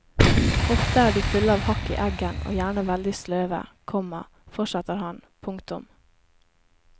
Ofte er de fulle av hakk i eggen og gjerne veldig sløve, komma fortsetter han. punktum